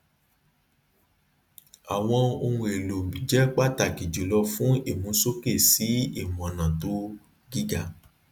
àwọn ohun èlò jẹ pàtàkì jùlọ fún ìmúsókè sí imọọnà to gíga